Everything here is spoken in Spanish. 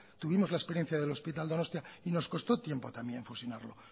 tuvimos la experiencia del hospital donostia y nos costó tiempo también fusionarlo